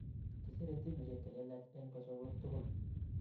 Kisire timishek chelelach en kosorweek tugul